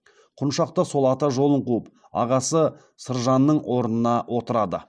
құншақ та сол ата жолын қуып ағасы сыржанның орнына отырды